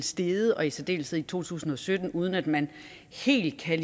steget og i særdeleshed i to tusind og sytten uden at man helt kan